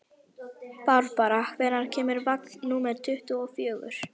Barbára, hvenær kemur vagn númer tuttugu og fjögur?